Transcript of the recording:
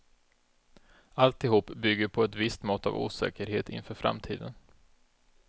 Alltihop bygger på ett visst mått av osäkerhet inför framtiden.